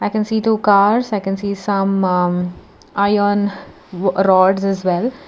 I can see two cars i can see some um ah iron rods as well.